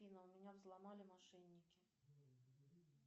афина меня взломали мошенники